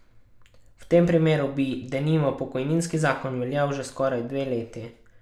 V tem primeru bi, denimo, pokojninski zakon veljal že skoraj dve leti.